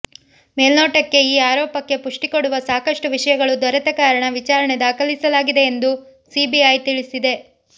ಮೇಲ್ನೋಟಕ್ಕೆ ಈ ಆರೋಪಕ್ಕೆ ಪುಷ್ಟಿ ಕೊಡುವ ಸಾಕಷ್ಟು ವಿಷಯಗಳು ದೊರೆತ ಕಾರಣ ವಿಚಾರಣೆ ದಾಖಲಿಸಲಾಗಿದೆ ಎಂದು ಸಿಬಿಐ ತಿಳಿಸಿದೆ